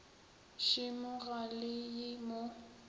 šemo ga le ye mo